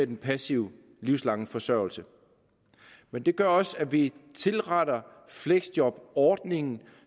den passive livslange forsørgelse men det gør også at vi tilretter fleksjobordningen